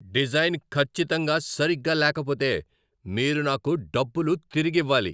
Design ఖచ్చితంగా సరిగ్గా లేకపోతే, మీరు నాకు డబ్బులు తిరిగివ్వాలి.